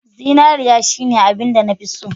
Zinariya shine abinda nafi so.